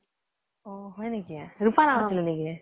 অ হয় নেকি ? ৰোপা আছিল নেকি ?